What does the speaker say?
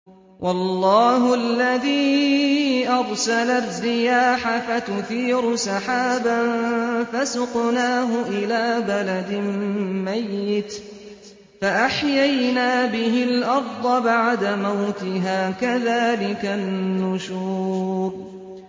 وَاللَّهُ الَّذِي أَرْسَلَ الرِّيَاحَ فَتُثِيرُ سَحَابًا فَسُقْنَاهُ إِلَىٰ بَلَدٍ مَّيِّتٍ فَأَحْيَيْنَا بِهِ الْأَرْضَ بَعْدَ مَوْتِهَا ۚ كَذَٰلِكَ النُّشُورُ